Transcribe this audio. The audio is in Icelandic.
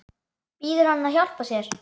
Biður hann að hjálpa sér.